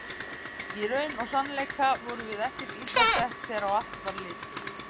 Í raun og sannleika vorum við ekkert illa sett þegar á allt var litið.